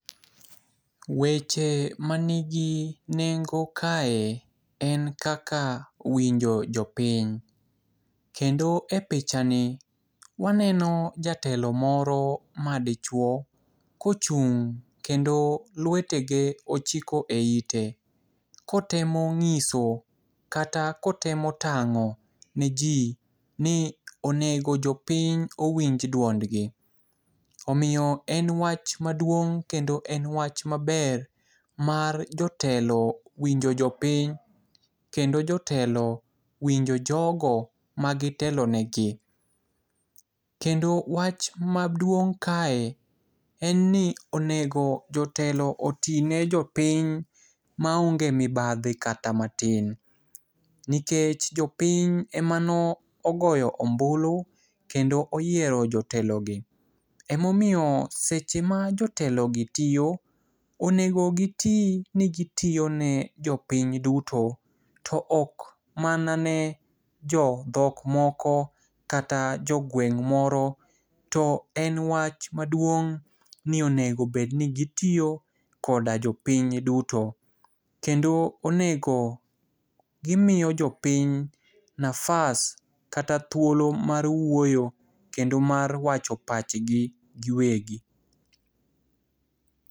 Weche manigi nengo kae en kaka winjo jopiny. Kendo epichani waneno jatelo moro madichuo kochung' kendo luetege ochiko eite kotemo ng'iso kata kotemo tang'o niji ni onego jopiny owinj duondgi. Omiyo en wach maduong' kendo wach maber mar jotelo winjo jopiny kendo jotelo winjo jogo magitelonegi. Kendo wach maduong' kae en ni onego jotelo oti ne jopiny maonge mibadhi kata matin nikech jopiny emane ogoyo ombulu kendo oyiero otelogi. Ema omiyo seche ma jotelogi tiyo, onego giti ni gitiyo ne jopiny duto to ok mana ne jodhok moko kata jogweng' moro to enwach maduong' ni onego bed ni gitiyo koda jopiny duto. Kendo onego gimiyo jopiny nafas kata thuolo mar wuoyo kendo mar wacho pachgi giweg.